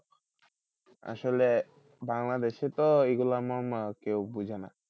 আসলে বাংলাদেশে তো এই গুলোর মর্ম কেউ বোঝেনা ।